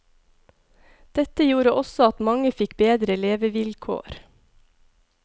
Dette gjorde også at mange fikk bedre levevilkår.